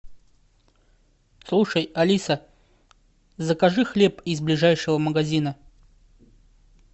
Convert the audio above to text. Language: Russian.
слушай алиса закажи хлеб из ближайшего магазина